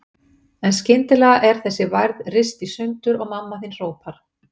En skyndilega er þessi værð rist í sundur og mamma þín hrópar